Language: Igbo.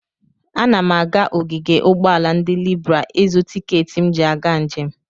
Ana m aga ogige ụgbọala ndị Libra ịzụ tikeeti m ji aga njem.